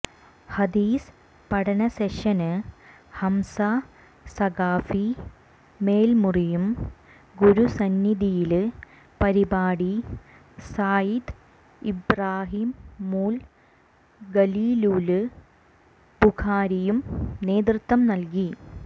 ഹദീസ് പഠന സെഷന് ഹംസ സഖാഫി മേല്മുറിയും ഗുരുസന്നിധിയില് പരിപാടി സയ്യിദ് ഇബ്റാഹീമുല് ഖലീലുല് ബുഖാരിയും നേതൃത്വം നല്കി